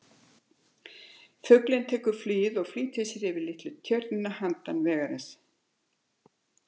Fuglinn tekur flugið og flýtir sér yfir litla tjörn handan vegarins.